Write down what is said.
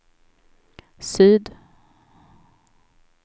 syd